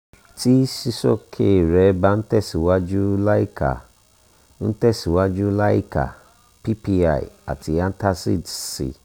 tí sísoske rẹ bá ń tẹ̀síwájú láìka ń tẹ̀síwájú láìka ppi àti antacids sí